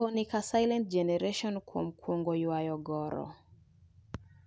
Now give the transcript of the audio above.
Koni ka silent generation kwom mokwongo ywayo goro.